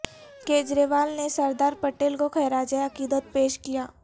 کیجریوال نے سردار پٹیل کو خراج عقیدت پیش کیا